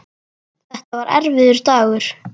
Þetta var erfiður dagur.